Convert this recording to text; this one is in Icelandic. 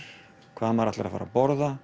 hvað maður ætlar að fara að borða